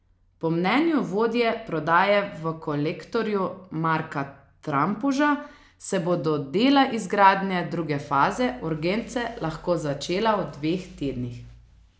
Po mnenju vodje prodaje v Kolektorju Marka Trampuža se bodo dela izgradnje druge faze urgence lahko začela v dveh tednih.